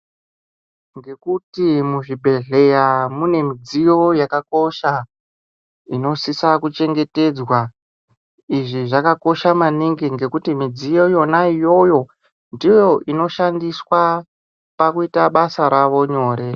Ngekuti muzvibhedhleya munemidziyo yakakosha inosisa kuchengetedzwa izvi zvakakosha maningi ngekuti midziyo yonaiyoyo ndiyoinoshandiswa pakuita basa ravo nyore.